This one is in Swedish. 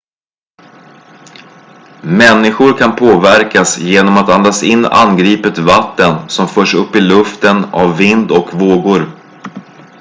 människor kan påverkas genom att andas in angripet vatten som förts upp i luften av vind och vågor